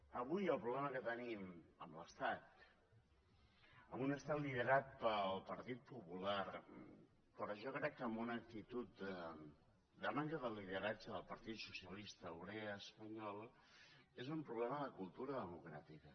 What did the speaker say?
avui el problema que tenim amb l’estat amb un estat liderat pel partit popular però jo crec que amb una actitud de manca de lideratge del partit socialista obrer espanyol és un problema de cultura democràtica